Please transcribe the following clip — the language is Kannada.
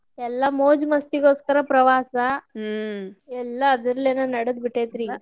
ಎಲ್ಲಾ ಮೋಜು ಮಸ್ತಿಗೋಸ್ಕರ ಪ್ರವಾಸ ಎಲ್ಲಾ ಅದರಲ್ಲಿಂದ ನಡದಬಿಟ್ಟೇತ್ರಿಗ.